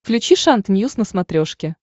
включи шант ньюс на смотрешке